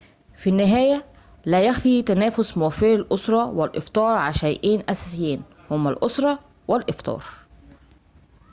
في النهاية لا يخفى تنافس موفري الأسِرَّة والإفطار على شيئين أساسيين هما الأسِرَّة والإفطار